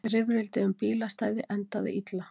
Rifrildi um bílastæði endaði illa